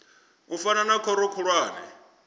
u fana na khoro khulwane